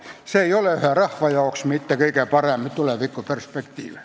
See ei ole aga ühe rahva jaoks kõige parem tulevikuperspektiiv.